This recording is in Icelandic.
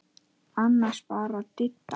Annars bara Didda.